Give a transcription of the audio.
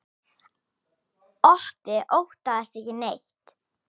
Otti óttast ekki neitt!